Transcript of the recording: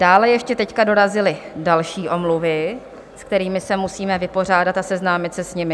Dále ještě teď dorazily další omluvy, se kterými se musíme vypořádat a seznámit se s nimi.